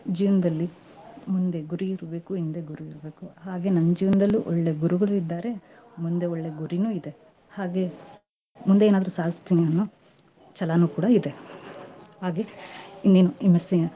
ಜೀವ್ನದಲ್ಲಿ ಮುಂದೆ ಗುರಿ ಇರ್ಬೇಕು, ಹಿಂದೆ ಗುರು ಇರ್ಬೇಕು ಹಾಗೆ ನಮ್ ಜೀವ್ನದಲ್ಲೂ ಒಳ್ಳೆ ಗುರುಗಳು ಇದ್ದಾರೆ, ಮುಂದೆ ಒಳ್ಳೆ ಗುರಿನೂ ಇದೆ, ಹಾಗೆ ಮುಂದೇ ಏನಾದ್ರೂ ಸಾಧಿಸ್ತೀನಿ ಅನ್ನೋ ಛಲಾನೂ ಕೂಡಾ ಇದೆ. ಹಾಗೆ ಇನ್ನೇನು MSc .